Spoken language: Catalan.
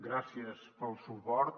gràcies pel suport